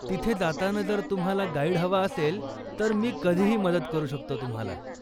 तिथे जाताना जर तुम्हाला गाईड हवा असेल, तर मी कधीही मदत करू शकतो तुम्हाला.